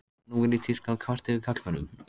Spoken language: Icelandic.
Nú er í tísku að kvarta yfir karlmönnum.